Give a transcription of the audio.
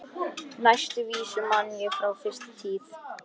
Næstu vísu man ég frá fyrstu tíð.